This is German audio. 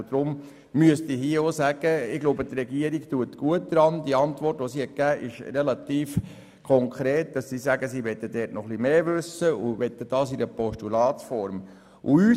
Deshalb ist hier zu sagen, dass die Regierung, deren Antwort konkret ist, gut daran tut, mehr wissen zu wollen und deshalb die Postulatsform will.